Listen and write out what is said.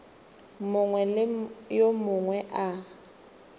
mongwe le yo mongwe a